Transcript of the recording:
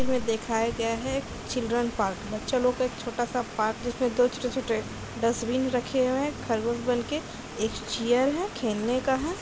तस्वीर में दिखाया गया है चिल्ड्रन पार्क । बच्चा लोग का एक छोटा-सा पार्क जिसमें दो छोटे-छोटे डस्टबिन रखे हुए है। खरगोश बनके एक चेयर है खेलने का है।